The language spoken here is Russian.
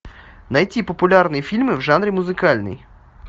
найти популярные фильмы в жанре музыкальный